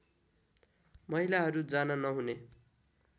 महिलाहरू जान नहुने